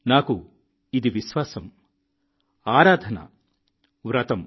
నాకు ఇది విశ్వాసం ఆరాధన వ్రతం